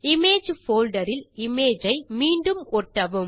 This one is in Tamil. இமேஜ் போல்டர் இல் இமேஜ் ஐ மீண்டும் ஒட்டவும்